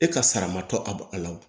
E ka sara ma tɔ a la wo